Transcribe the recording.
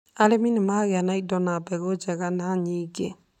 arĩmi nĩ magĩa na indo na mbegũ njega, na nyingĩ